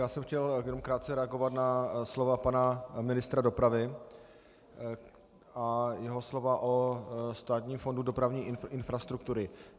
Já jsem chtěl jenom krátce reagovat na slova pana ministra dopravy a jeho slova o Státním fondu dopravní infrastruktury.